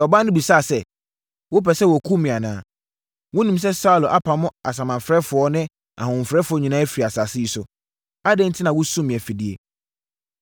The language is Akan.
Ɔbaa no bisaa sɛ, “Wopɛ sɛ wɔkum me anaa? Wonim sɛ Saulo apamo asamanfrɛfoɔ ne ahohomfrɛfoɔ nyinaa afiri asase yi so. Adɛn enti na wosum me afidie?”